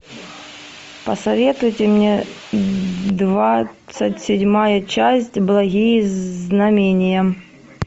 посоветуйте мне двадцать седьмая часть благие знамения